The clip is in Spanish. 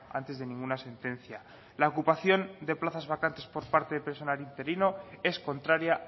antes de ninguna sentencia la ocupación de plazas vacantes por parte de personal interino es contraria